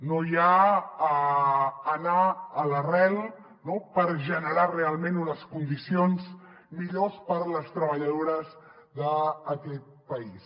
no hi ha anar a l’arrel no per generar realment unes condicions millors per a les treballadores d’aquest país